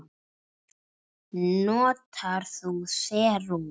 Notar þú serum?